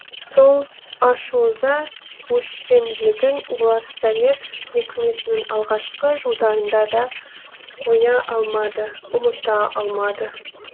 сол ашу ыза өшпенділігін олар совет өкіметінің алғашқы жылдарында да қоя алмады ұмыта алмады